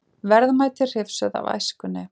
Verðmæti hrifsuð af æskunni